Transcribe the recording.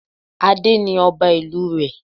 Adé ni ọba ìlú rẹ̀